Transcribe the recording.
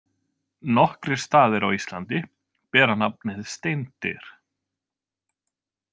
Nokkrir staðir á Íslandi bera nafnið Steindyr.